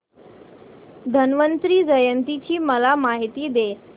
धन्वंतरी जयंती ची मला माहिती दे